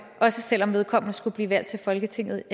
også selv om vedkommende skulle blive valgt til folketinget